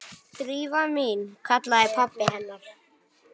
Drífa mín- kallaði pabbi hennar.